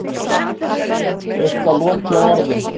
Eitthvað loki á orðin.